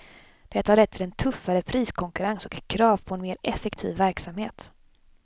Detta har lett till en tuffare priskonkurrens och krav på en mer effektiv verksamhet.